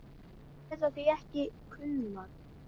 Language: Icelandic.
Þær geta því ekki kulnað.